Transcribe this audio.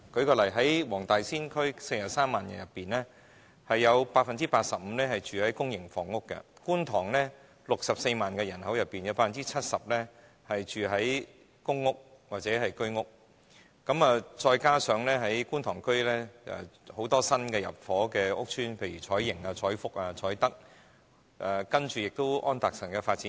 舉例，黃大仙區43萬人口當中 ，85% 居住於公營房屋；而觀塘64萬人口當中 ，70% 居住於公屋或居屋，加上觀塘區有很多新入伙的屋邨，例如彩盈邨、彩福邨及彩德邨，還有安達臣道的發展區。